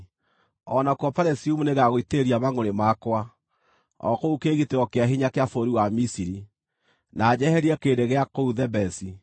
O nakuo Pelusiumu nĩngagũitĩrĩria mangʼũrĩ makwa, o kũu kĩĩgitĩro kĩa hinya kĩa bũrũri wa Misiri, na njeherie kĩrĩndĩ gĩa kũu Thebesi.